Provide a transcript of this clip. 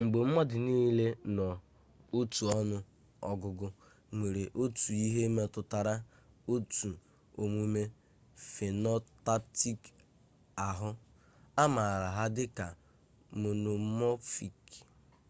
mgbe mmadụ nile n'otu ọnụ ọgụgụ nwere otu ihe metụtara otu omume phenotypic ahụ a maara ha dịka monomorphic